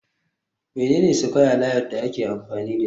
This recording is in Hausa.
Mene ne square layout da ake amfani dashi